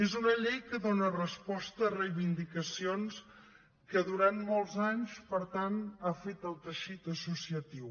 és una llei que dóna resposta a reivindicacions que durant molts anys per tant ha fet el teixit associatiu